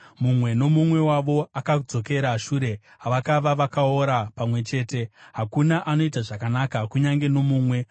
Mumwe nomumwe wavo akadzokera shure, vakava vakaora pamwe chete; hakuna anoita zvakanaka, kunyange nomumwe.